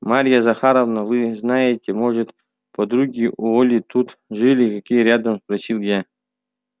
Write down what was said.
марья захаровна вы знаете может подруги у оли тут жили какие рядом спросил я